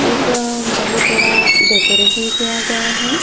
एक बहुत बड़ा डेकोरेशन किया गया है।